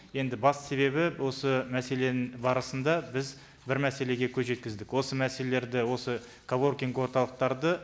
енді басты себебі осы мәселенің барысында біз бір мәселеге көз жеткіздік осы мәселелерді осы коворкинг орталықтарды